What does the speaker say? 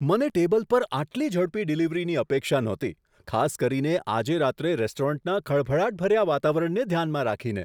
મને ટેબલ પર આટલી ઝડપી ડિલિવરીની અપેક્ષા નહોતી, ખાસ કરીને આજે રાત્રે રેસ્ટોરન્ટના ખળભળાટભર્યા વાતાવરણને ધ્યાનમાં રાખીને.